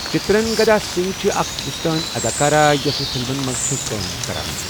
چترنگدا سِنگھ چھِ اَکھ ہِندوستٲنؠ اَداکارہ یۄس فِلمَن مَنٛز چھِ کٲم کَران.